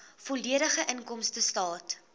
volledige inkomstestaat